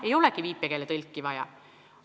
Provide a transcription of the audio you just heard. Ei olegi viipekeeletõlki vaja!